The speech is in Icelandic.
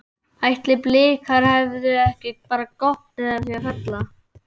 Ætli Blikar hefðu ekki bara gott af því að falla?